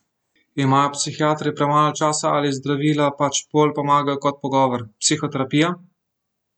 Imajo psihiatri premalo časa ali zdravila pač bolj pomagajo kot pogovor, psihoterapija?